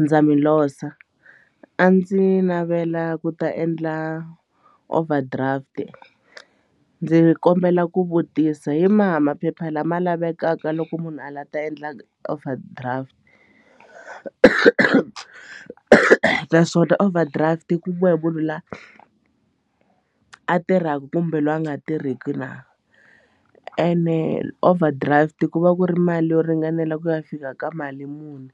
Ndza mi losa a ndzi navela ku ta endla overdraft ndzi kombela ku vutisa hi maha maphepha lama lavekaka loko munhu a la ta endla overdraft naswona overdraft yi kumiwa hi munhu loyi a tirhaka kumbe loyi a nga tirhiki na ene overdraft ku va ku ri mali yo ringanela ku ya fika ka mali muni